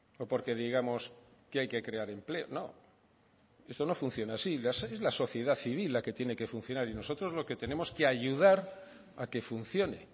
o porque digamos que hay que crear empleo no esto no funciona así es la sociedad civil la que tiene que funcionar y nosotros lo que tenemos que ayudar a que funcione